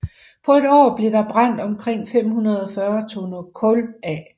På et år blev der brændt omkring 540 tønder kul af